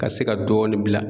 Ka se ka dɔɔni bila.